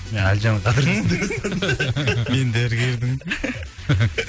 әлжанның қадірін мен дәрігердің